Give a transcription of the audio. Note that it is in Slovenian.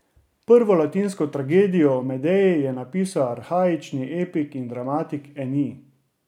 Prvo latinsko tragedijo o Medeji je napisal arhaični epik in dramatik Enij.